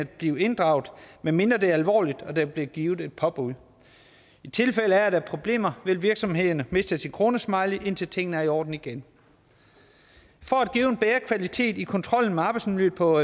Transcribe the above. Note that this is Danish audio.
blive inddraget medmindre det er alvorligt og der vil blive givet et påbud i tilfælde af at der er problemer vil virksomhederne miste sin kronesmiley indtil tingene er i orden igen for at give en bedre kvalitet i kontrollen med arbejdsmiljøet på